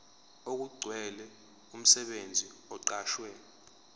okugcwele umsebenzi oqashwe